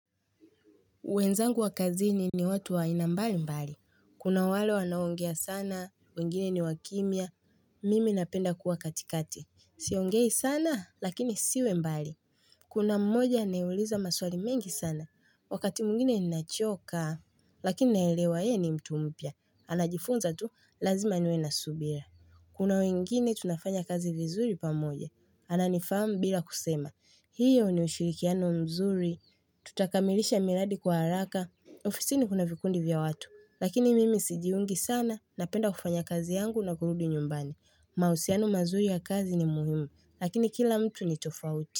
Wenzangu wa kazini ni watu wa aina mbali mbali. Kuna wale wanao ongea sana, wengine ni wakimya. Mimi napenda kuwa katikati. Siongei sana, lakini siwe mbali. Kuna mmoja anayeuliza maswali mengi sana. Wakati mwingine ninachoka, lakini naelewa yeye ni mtu mpya. Anajifunza tu, lazima niwe na subira. Kuna wengine tunafanya kazi vizuri pamoje. Ananifamu bila kusema. Hiyo ni ushirikiano mzuri. Tutakamilisha miradi kwa haraka ofisini kuna vikundi vya watu Lakini mimi sijiungi sana Napenda kufanya kazi yangu na kurudi nyumbani mahusiano mazuri ya kazi ni muhimu Lakini kila mtu ni tofauti.